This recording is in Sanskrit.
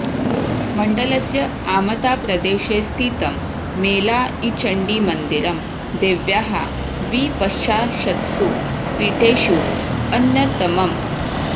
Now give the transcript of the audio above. मण्डलस्य आमताप्रदेशे स्थितं मेलाइचण्डीमन्दिरं देव्याः द्विपञ्चाशत्सु पीठेषु अन्यतमम्